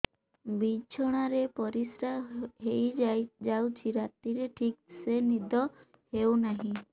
ବିଛଣା ରେ ପରିଶ୍ରା ହେଇ ଯାଉଛି ରାତିରେ ଠିକ ସେ ନିଦ ହେଉନାହିଁ